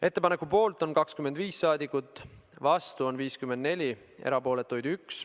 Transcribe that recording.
Ettepaneku poolt on 25 rahvasaadikut, vastuolijaid on 54 ja erapooletuid 1.